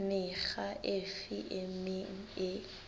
mekga efe e meng e